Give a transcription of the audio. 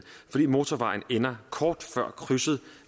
fordi motorvejen ender kort før krydset